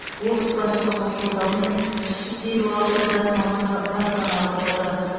облыс басшылығының қолдауымен үш жүз елу алты жас маман ба баспаналы болды